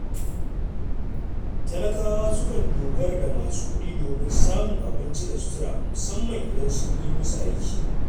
Talakawa sukan dogara da masu kuɗi domin samun abinci da sutura musamman idan sun yi musu aiki.